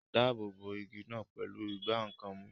Dáàbò bo igi náà pẹ̀lú ìgbá nǹkan mú